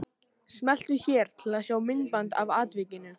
Smeltu hér til að sjá myndband af atvikinu